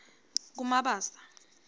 kumabasa